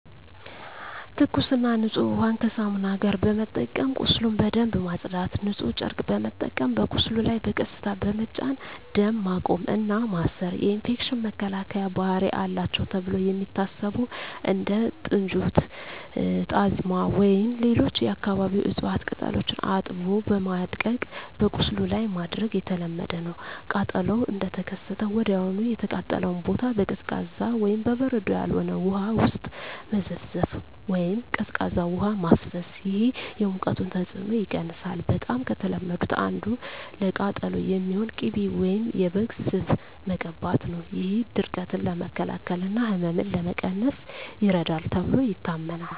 ትኩስና ንጹህ ውሃን ከሳሙና ጋር በመጠቀም ቁስሉን በደንብ ማጽዳት። ንጹህ ጨርቅ በመጠቀም በቁስሉ ላይ በቀስታ በመጫን ደም ማቆም እና ማሰር። የኢንፌክሽን መከላከያ ባህሪ አላቸው ተብለው የሚታሰቡ እንደ ጥንጁት፣ ጣዝማ ወይም ሌሎች የአካባቢው እፅዋት ቅጠሎችን አጥቦ በማድቀቅ በቁስሉ ላይ ማድረግ የተለመደ ነው። ቃጠሎው እንደተከሰተ ወዲያውኑ የተቃጠለውን ቦታ በቀዝቃዛ (በበረዶ ያልሆነ) ውሃ ውስጥ መዘፍዘፍ ወይም ቀዝቃዛ ውሃ ማፍሰስ። ይህ የሙቀቱን ተጽዕኖ ይቀንሳል። በጣም ከተለመዱት አንዱ ለቃጠሎ የሚሆን ቅቤ ወይም የበግ ስብ መቀባት ነው። ይህ ድርቀትን ለመከላከል እና ህመምን ለመቀነስ ይረዳል ተብሎ ይታመናል።